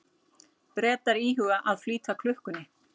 Bretar íhuga að flýta klukkunni